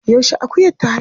Yaushe akuyar ta haihu?